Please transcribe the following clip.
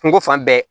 Kungo fan bɛɛ